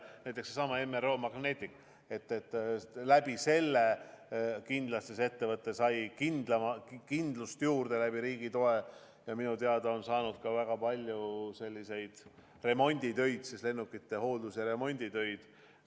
Või näiteks Magnetic MRO, tänu riigi toele sai ettevõte kindlasti kindlust juurde ja minu teada on nad saanud ka väga palju remonditöid, lennukite hoolduse ja remondi töid.